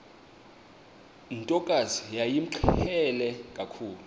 ntokazi yayimqhele kakhulu